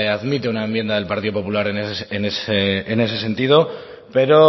admite una enmienda del partido popular en ese sentido pero